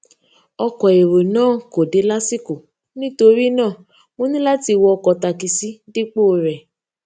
ọkò èrò náà kò dé lásìkò nítorí náà mo ní láti wọ ọkò takisí dípò rè